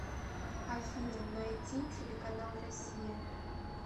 афина найти телеканал россия